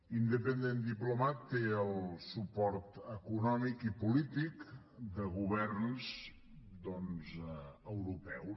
independent diplomat té el suport econòmic i polític de governs doncs europeus